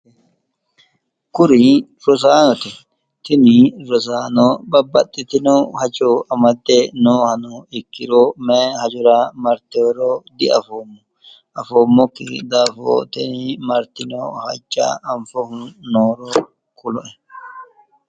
Kuri rosaanote. tini rosaano babbaxxitino hajo amadde noohano ikkiro mayi hajora marteworo diafoommo. afommokki daafo tini martino hajja anfohu nooro kuloe.